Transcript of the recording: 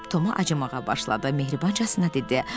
Toma acımağa başladı, mehribancasına dedi.